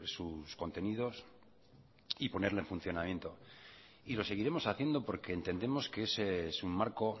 sus contenidos y ponerle en funcionamiento y lo seguiremos haciendo porque entendemos que es un marco